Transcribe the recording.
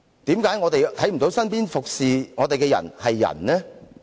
為何我們看不到身邊服務我們的人是人呢？